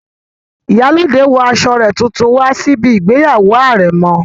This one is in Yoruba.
Ìyálóde wọ aṣọ rẹ̀ tuntun wá síbi ìgbéyàwó àrẹ̀mọ